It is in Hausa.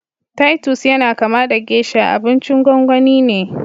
Titus yana kama da geisha, abincin gwangwani ne